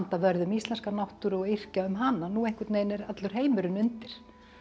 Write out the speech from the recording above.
vörð um íslenska náttúru og yrkja um hana núna einhvern veginn er allur heimurinn undir